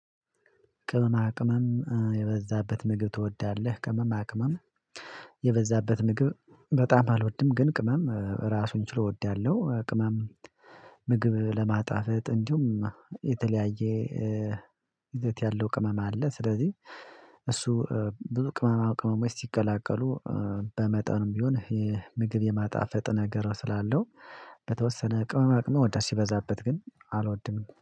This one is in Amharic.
ቅመማ ቅመም የበዛበት ምግብ ትወዳለህ? ቅመማ ቅመም የበዛበት ምግብ በጣም አልወድም። ግን ቅመም ራሱን ችሎ እወዳለሁ። ቅመም ምግብ ለማጣፈጥ እንዲሁም የተለያየ የት ያለው ቅመም አለ። ስለዚህ እሱ ብዙ ቅመማ ቅመሞች ሲቀላቀሉ በመጠኑም ቢሆን የምግብ የማጣፈጥ ነገር ስላለው በተወሰነ ቅመመቅመ ወዳስ ሲበዛበት ግን አልወድንም